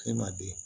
E ma den